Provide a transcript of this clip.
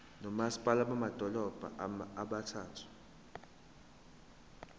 nomasipala bamadolobha abathathu